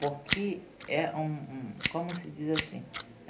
Porque é um um... Como se diz assim?